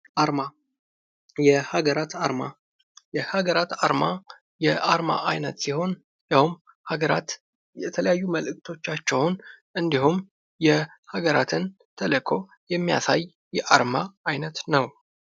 አርማ የሀገራት አርማ የሀገራት አርማ የአርማ አይነት ሲሆን ይኸውም ሀገራት የተለያዩ መልእክቶቻቸውን እንድሁም የሀገራትን ተልዕኮ የሚያሳይ የአርማ አይነት ነው።